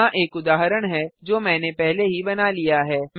यहाँ एक उदाहरण है जो मैंने पहले ही बना लिया है